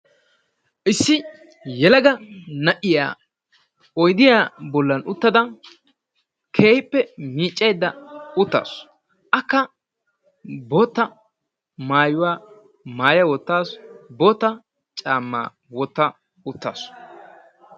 Issi yelaga na"iya oydiya bollan uttada keehippe miiccaydda uttaasu. Akka bootta maayuuwa maayya wottaasu bootta caamaa wotta uttaasu.